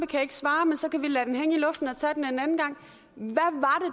kan svare men så kan vi lade den hænge i luften og tage den en anden gang